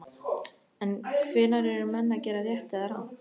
En hvenær eru menn að gera rétt eða rangt?